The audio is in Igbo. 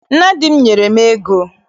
Nna di m nyere m ego.